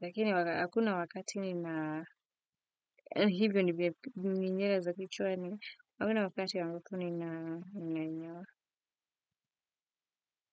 lakini hakuna wakati nina, yaani hivyo ndivyo juu ni nywele za kichwani, hakuna wakati ambapo ninanyoa.